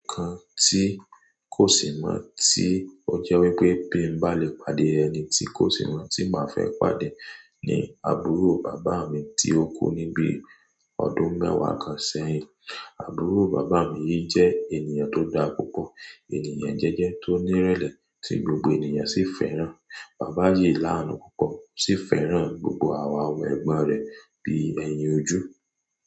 Nǹkan tí kò sì mọ̀ tí ó jẹ́ wípé bí n bá lè pàdé ẹni tí kò sì mọ̀ tí màá fẹ́ pàdé ni àbúrò bàbá mi tí ó kú ní bí ọdún mẹ́wàá kan sẹ́yìn. Àbúrò bàbá mi yìí jẹ́ ènìyàn tó dára púpọ̀, ènìyàn jẹ́jẹ́ tó ní ìrẹ̀lẹ̀ tí gbogbo ènìyàn sì fẹ́ràn. Bàbá yìí là á nù púpọ̀ ó sì fẹ́ràn gbogbo àwa ọmọ ẹ̀gbọ́n rẹ̀ bí èèyàn ojú.